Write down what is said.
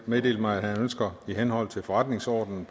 meddelt mig at han ønsker i henhold til forretningsordenens